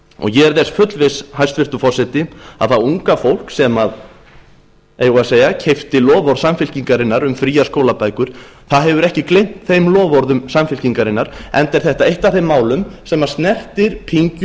ég er þess fullviss hæstvirtur forseti að það unga fólk sem eigum við að segja keypti loforð samfylkingarinnar um fríar skólabækur hefur ekki gleymt þeim loforðum samfylkingarinnar enda er þetta eitt af þeim málum sem snertir pyngju